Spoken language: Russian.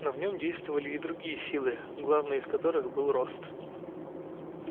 но в нём действовали и другие силы главной из которых был рост